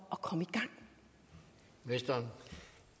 at sikre